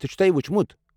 ژےٚ چھُتھا یہِ وُچھمُت؟